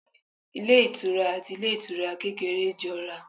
Ilé ìtura àti ilé ìtura kékeré jọ ra